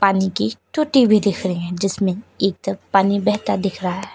पानी की टुटी भी दिख रही है जिसमें एक तरफ पानी बहता दिख रहा है।